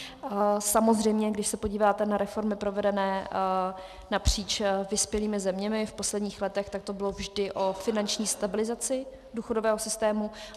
Samozřejmě když se podíváte na reformy provedené napříč vyspělými zeměmi v posledních letech, tak to bylo vždy o finanční stabilizaci důchodového systému.